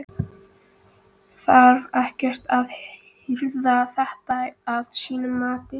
Þarf ekkert að herða þetta að þínu mati?